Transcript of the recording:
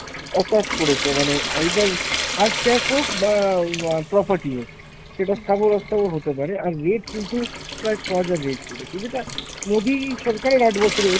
attach করেছে। মানে either hard cash হোক বা অ্যাঁ property হো, সেটা স্থাবর অস্থাবর হতে পারে। আর rate কিন্তু প্রায় ছ'হাজার rate করেছে, যেটা মোদী সরকারের আট বছরে হয়েছে।